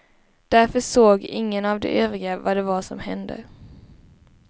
Därför såg ingen av de övriga vad det var som hände.